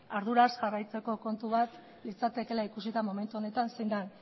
arduraz jarraitzeko kontu bat litzatekeela ikusita momentu honetan zein den